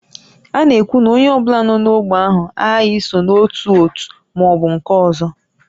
A na-ekwu na onye ọ bụla nọ n'ógbè ahụ aghaghị iso n'otu òtù ma ọ bụ nke ọzọ